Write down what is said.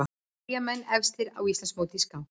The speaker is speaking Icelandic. Eyjamenn efstir á Íslandsmóti í skák